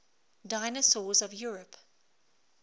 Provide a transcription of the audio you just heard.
dinosaurs of europe